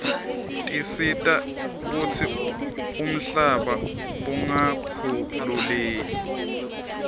tisita kutsi umhlaba ungakhukhuleiu